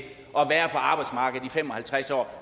at være på arbejdsmarkedet i fem og halvtreds år